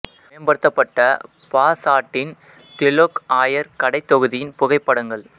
மேம்படுத்தப்பட்ட Lau Pa சாட்டின் Telok Ayer கடைத்தொகுதியின் புகைப்படங்கள்